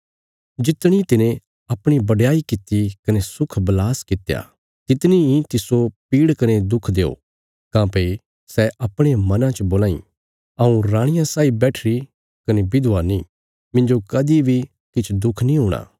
जितणी तिने अपणी बडयाई कित्ती कने सुखबलास कित्या तितनी इ तिस्सो पीड़ कने दुख देओ काँह्भई सै अपणे मनां च बोलां इ हऊँ राणिया साई बैठीरी कने विधवा नीं मिन्जो कदीं बी किछ दुख नीं हूणा